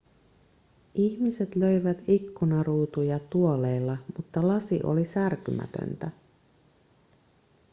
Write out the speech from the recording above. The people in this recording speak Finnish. ihmiset löivät ikkunaruutuja tuoleilla mutta lasi oli särkymätöntä